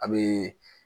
A bee